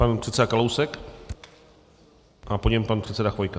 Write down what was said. Pan předseda Kalousek a po něm pan předseda Chvojka.